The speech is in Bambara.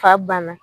Fa banna